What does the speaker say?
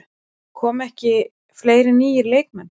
Koma ekki fleiri nýir leikmenn?